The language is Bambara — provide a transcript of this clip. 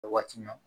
Waati na